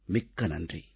மிக்க நன்றி